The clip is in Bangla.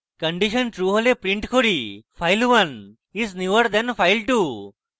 condition true হলে আমরা print করি file1 is newer than file2